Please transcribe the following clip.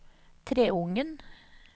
Treungen